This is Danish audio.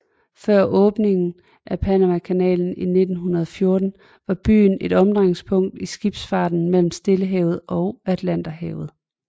Før åbningen af Panamakanalen i 1914 var byen et omdrejningspunkt i skibsfarten mellem Stillehavet og Atlanterhavet